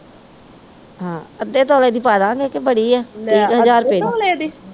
ਹਾਂ ਅੱਧੇ ਤੋਲੇ ਦੀ ਪਾਦਾਗੇ ਕੇ ਬੜੀ ਆ ਤੀਹ ਕ ਹਜ਼ਾਰ ਰੁਪਏ ਦੀ।